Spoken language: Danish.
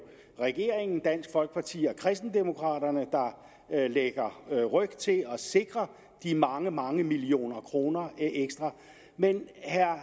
regeringen dansk folkeparti og kristendemokraterne der lægger ryg til at sikre de mange mange millioner kroner ekstra men